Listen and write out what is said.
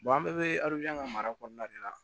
an bɛɛ bɛ ka mara kɔnɔna de la